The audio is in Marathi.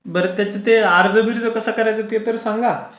बर त्याच्या अर्ज कसा करायचा ते तर सांगा.